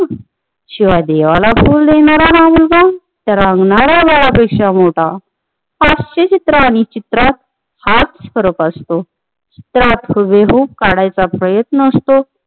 शिवाय देवाला फुल देणार हा मुलगा त्या रांगणा-या बाळापेक्षा मोठा हास्यचित्रात आणि चित्रात हाच फरक असतो त्यात हुबेहुब काढायचा प्रयत्न असतो